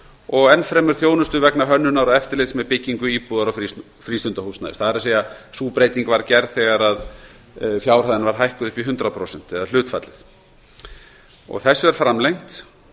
og enn fremur þjónustu vegna hönnunar og eftirlits með byggingu íbúðar og frístundahúsnæðis sú breyting var gerð þegar hlutfallið var hækkað upp í hundrað prósent þetta er framlengt